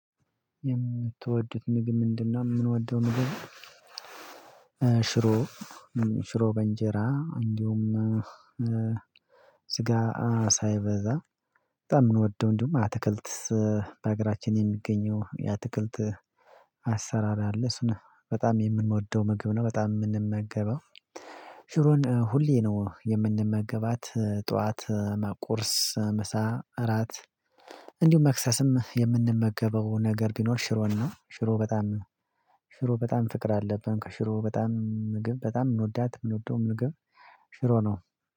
የምትወዱት ምግብ ምንድና? የምንወደው ንጉስ ሽሮ ሽሮ በእንጀራ እንዲሁም ስጋ ሳይበዛ በጣም እንወደው እንዲሁም አትክልት በአገራችን የሚገኘው የአትክልት አሰራር አለ እሱ ነው በጣም የምንወደው ምግብ ነው። በጣም የምንመገበው ሽሮን ሁሌ ነው የምንመገባት ጠዋት ቁርስ ምሳ እራት እንዲሁም መክሰስም የምንመገበው ነገር ቢኖር ሽሮን ነው። ሽሮ በጣም ሽሮ በጣም ፍቅር አለብን ከሽሮ በጣም ምግብ በጣም እንወዳት የምንወደው ነገር ሽሮ ነው።